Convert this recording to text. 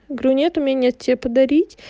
говорю нет у меня нет тебе подарить